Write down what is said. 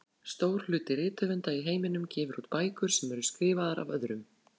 Stór hluti rithöfunda í heiminum gefur út bækur sem eru skrifaðar af öðrum.